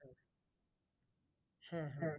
হ্যাঁ হ্যাঁ